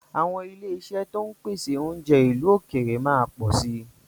Àwọn ilé-iṣẹ́ to ń pèsè oúnjẹ ìlú òkèèrè máa pọ̀ si